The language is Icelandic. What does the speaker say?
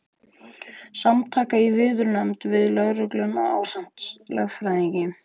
Samtakanna í viðræðunefnd við lögregluna ásamt lögfræðingi.